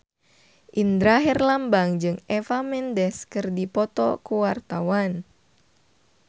Indra Herlambang jeung Eva Mendes keur dipoto ku wartawan